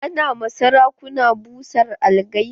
Ana ma sarakuna busan algaita.